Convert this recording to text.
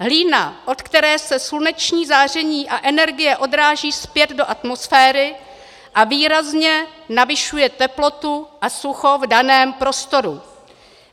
Hlína, od které se sluneční záření a energie odráží zpět do atmosféry a výrazně navyšuje teplotu a sucho v daném prostoru.